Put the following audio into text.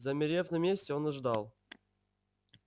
замерев на месте он ждал